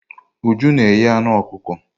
Uju na eghe anụ ọkụkọ.